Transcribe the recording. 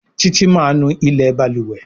Titi má nú ilé balùwẹ̀.